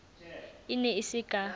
e ne e se ka